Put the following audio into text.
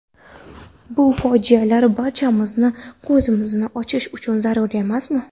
Bu fojialar barchamizning ko‘zimizni ochishi zarur emasmi?